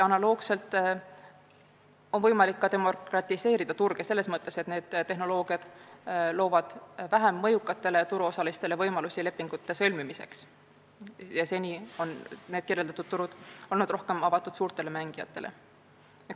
Analoogiliselt on võimalik ka turge demokratiseerida – selles mõttes, et need tehnoloogiad loovad vähem mõjukatele turuosalistele võimalusi lepingute sõlmimiseks turgudel, mis seni on olnud rohkem avatud suurtele mängijatele.